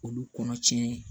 K'olu kɔnɔ tiɲɛ